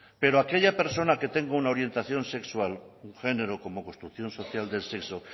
pero aquella persona que tengan una orientación sexual un género como construcción social del sexo